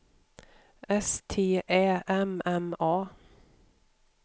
S T Ä M M A